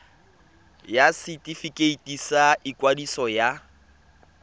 ya setefikeiti sa ikwadiso ya